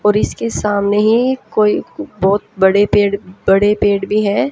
और इसके सामने ही कोई बहोत बड़े पेड़ बड़े पेड़ भी है।